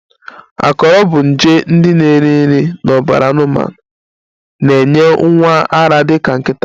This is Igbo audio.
Akọrọ bụ nje ndị na-eri nri n'ọbara anụmanụ na-enye nwa ara dị ka nkịta